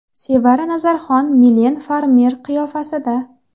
Sevara Nazarxon Milen Farmer qiyofasida.